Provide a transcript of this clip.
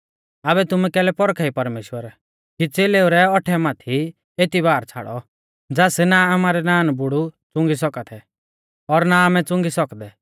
आबै तुमै कैलै पौरखा ई परमेश्‍वर कि च़ेलेऊ रै औट्ठै माथै एती भार छ़ाड़ौ ज़ास ना आमारै नानबुड़ै च़ुंगी सौका थै और ना आमै च़ुंगी सौकदै